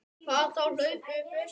Hvað þá hlaupið upp Esjuna.